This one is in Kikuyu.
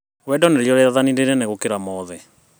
Wendo nĩrĩo rĩathani rĩnene gũkĩra mothe